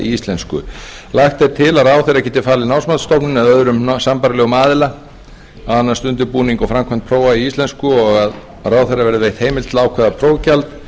íslensku lagt er til að ráðherra geti falið námsmatsstofnun eða öðrum sambærilegum aðila að annast undirbúning og framkvæmd prófa í íslensku og að ráðherra verði veitt heimild til að ákveða prófgjald